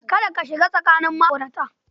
Kada ka shiga tsakanin ma'aurata.